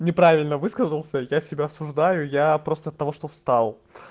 неправильно высказался я себя осуждаю я просто от того что встал